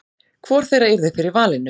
hvor þeirra yrði fyrir valinu